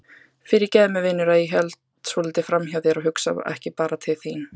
Fyrirgefðu mér vinur að ég held svolítið framhjá þér og hugsa ekki bara til þín.